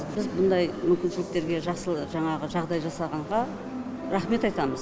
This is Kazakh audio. біз мұндай мүмкіншіліктерге жаңағы жағдай жасалғанға рахмет айтамыз